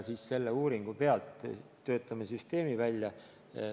Selle uuringu põhjal töötame süsteemi välja.